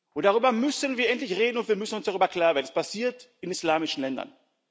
und darüber müssen wir endlich reden und wir müssen uns darüber klar werden Es passiert in islamischen Ländern.